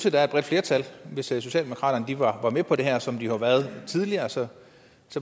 at der er et bredt flertal hvis socialdemokraterne ville være med på det her som de jo har været tidligere så